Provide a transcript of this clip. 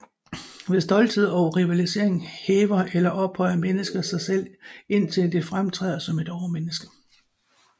Ved stolthed og rivalisering hæver eller ophøjer mennesket sig selv indtil det fremtræder som et overmenneske